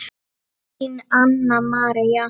Þín, Anna María.